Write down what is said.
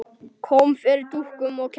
Kom fyrir dúkum og kertum.